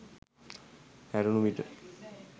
හැරුණු විට